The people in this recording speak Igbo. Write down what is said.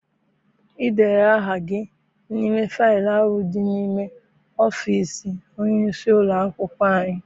I deela aha gị n'ime faịlu dị n'ime ọfịịsi onyeisi ụlọakwụkwọ anyị?